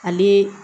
Ale